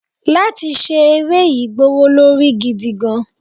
látí ṣe eré yii gbówólorí gidigan